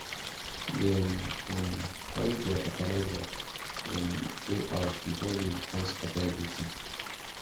dem um carry their fertilizer um go house before rain come scatter everything